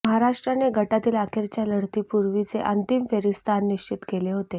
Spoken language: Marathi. महाराष्ट्राने गटातील अखेरच्या लढतीपूर्वीच अंतिम फेरीत स्थान निश्चित केले होते